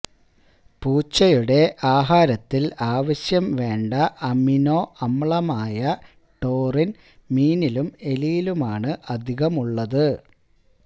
പൂച്ചയുടെ ആഹാരത്തില് അവശ്യംവേണ്ട അമിനോ അമ്ലമായ ടോറിന് മീനിലും എലിയിലുമാണ് അധികമുള്ളത്